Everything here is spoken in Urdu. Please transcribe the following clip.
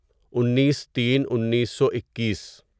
انیس تین انیسو اکیس